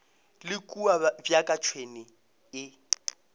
le kua bjaka tšhwene e